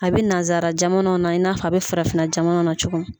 A bɛ nazara jamanaw na i n'a f'a bɛ farafin na jamana na cogo min.